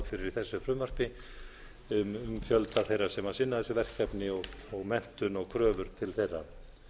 fyrir í þessu frumvarpi um fjölda þeirra sem sinna þessu verkefni og menntun og kröfur til þeirra